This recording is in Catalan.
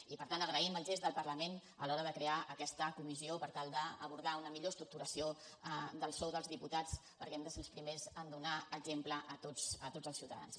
i per tant agraïm el gest del parlament a l’hora de crear aquesta comissió per tal d’abordar una millor estructuració del sou dels diputats perquè hem de ser els primers en donar exemple a tots els ciutadans